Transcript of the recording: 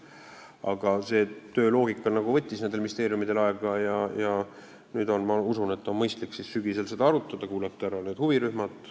Aga selle töö loogika võttis ministeeriumidel aega ja nüüd, sügisel, ma usun, on mõistlik seda arutada ja kuulata ära huvirühmad.